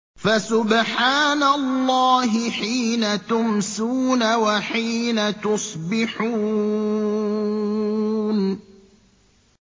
فَسُبْحَانَ اللَّهِ حِينَ تُمْسُونَ وَحِينَ تُصْبِحُونَ